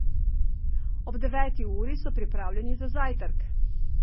Ob deveti uri so pripravljeni za zajtrk.